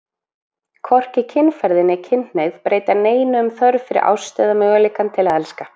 Hvorki kynferði né kynhneigð breyta neinu um þörf fyrir ást eða möguleikann til að elska.